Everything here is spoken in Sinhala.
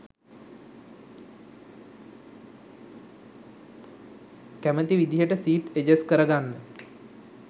කැමති විදිහට සීට් එජස් කර ගන්න